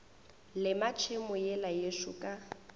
lema tšhemo yela yešo ka